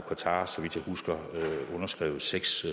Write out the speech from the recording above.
qatar så vidt jeg husker underskrevet seks